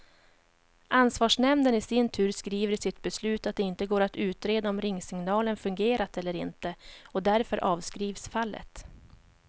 Ansvarsnämnden i sin tur skriver i sitt beslut att det inte går att utreda om ringsignalen fungerat eller inte, och därför avskrivs fallet.